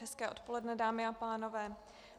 Hezké odpoledne, dámy a pánové.